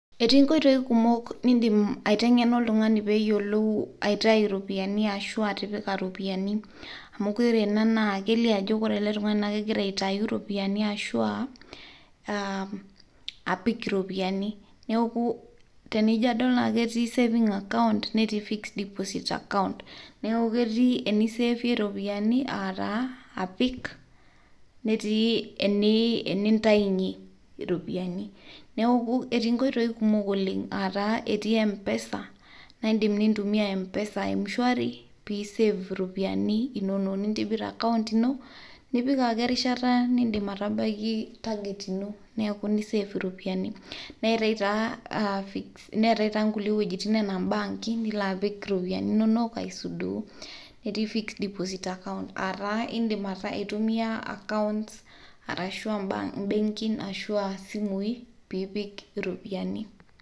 Etii nkoitoi kumok niindim aitengena oltungani peeyolou aitai iropiyiani ashu atipika, amu kore anaa na keilio ajo kore ale tungani naa kegira aitayu iropiyiani ashu aapik iropiyiani naaku tenijo adol naa ketii saving account nrtii fixed deposit account neaku ketii eniiseevie iropiyiani aataa apik netii, eniintainye iropyiani, neaku etii nkoitoi kumok oleng aataa etii mpesa naa indim niintumiya mpesa mshwari piisev iropiyiani inono niintibirr account ino nipik ake erishata niindip atabaki target ino neaku niseev iropiyian, neatae taa nkule wejitin enaa mbaanki nilo apik ropiyiani inonok aisudoo netii fixed deposit accunt aataa indim aituiyaa account arashu embank ashuu aasimu piipik iropiyiani.